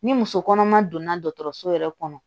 Ni muso kɔnɔma donna dɔgɔtɔrɔso yɛrɛ kɔnɔ